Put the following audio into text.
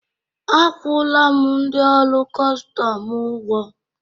akwụla m ndị ọrụ kọstọm ụgwọ